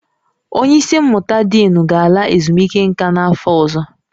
Onye isi mmụta diinu ga-ala ezumike nka n'afọ ọzọ